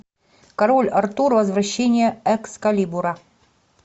король артур возвращение экскалибура